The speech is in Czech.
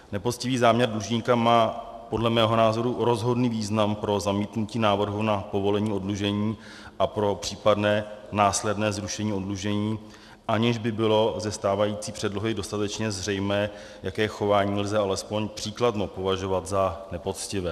Nepoctivý záměr dlužníka má podle mého názoru rozhodný význam pro zamítnutí návrhu na povolení oddlužení a pro případné následné zrušení oddlužení, aniž by bylo ze stávající předlohy dostatečně zřejmé, jaké chování lze alespoň příkladmo považovat za nepoctivé.